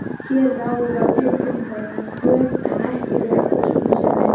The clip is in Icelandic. Hér ráða tilfinningarnar för en ekki rök og skynsemi.